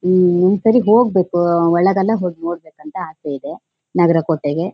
ಹ್ಮ್ ಒಂದ್ ಸರಿ ಹೋಗ್ಬೇಕು ಒಳಗೆಲ್ಲ ಹೊಗ್ ನೋಡ್ಬೇಕು ಅಂತ ಅಸೆ ಇದೆ ನಾಗರಕೋಟೆ ಗೆ